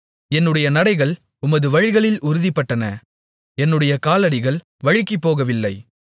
என்னுடைய நடைகள் உமது வழிகளில் உறுதிப்பட்டன என்னுடைய காலடிகள் வழுகிப்போகவில்லை